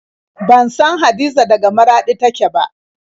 Ban san Hadiza daga Maraɗi take ba.